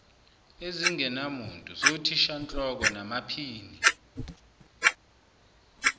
ezingenamuntu zothishanhloko namaphini